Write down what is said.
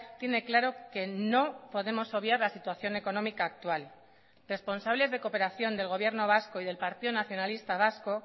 tiene claro que no podemos obviar la situación económica actual responsables de cooperación del gobierno vasco y del partido nacionalista vasco